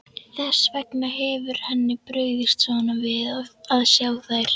Þess vegna hefur henni brugðið svona við að sjá þær.